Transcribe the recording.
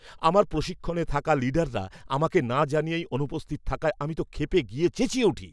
আমার প্রশিক্ষণে থাকা লিডাররা আমাকে না জানিয়েই অনুপস্থিত থাকায় আমি তো ক্ষেপে গিয়ে চেঁচিয়ে উঠি।